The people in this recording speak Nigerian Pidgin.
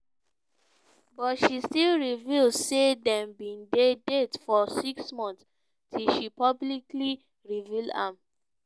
but she still reveal say dem bin dey date for six months till she publicly reveal am.